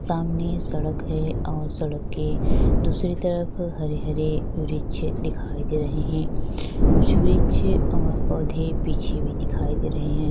सामने सड़क है और सड़क के दूसरी तरफ हरे - हरे वृक्ष दिखाई दे रहे है कुछ वृक्ष और पौधे पीछे भी दिखाई दे रहे है।